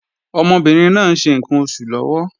Ọmọbìnrin náà ń ṣe ǹkan oṣù lọ́wọ́